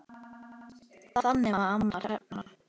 Þannig var amma Hrefna.